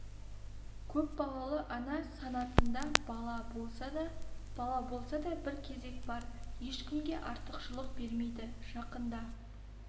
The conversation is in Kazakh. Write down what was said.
көпбалалы ана санатында бала болса да бала болса да бір кезек бар ешкімге артықшылық бермейді жақында